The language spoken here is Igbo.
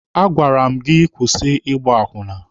A gwara m gị ka ị kwụsị Ịgba akwụna!